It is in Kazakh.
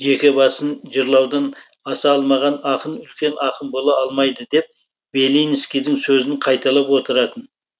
жеке басын жырлаудан аса алмаған ақын үлкен ақын бола алмайды деп белинскийдің сөзін қайталап отыратын